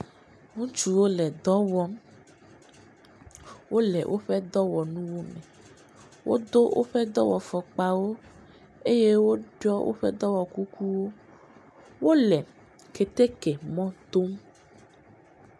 Ŋutsuwo le dɔ wɔm, wole woƒe dɔwɔnuwo me, wodo woƒe dɔwɔfɔkpawo eye woɖɔ woƒe dɔwɔkukuwo, wole keteke mɔ dom.